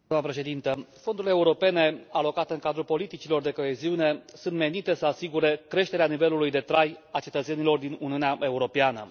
Doamnă președintă, fondurile europene alocate în cadrul politicilor de coeziune sunt menite să asigure creșterea nivelului de trai al cetățenilor din Uniunea Europeană.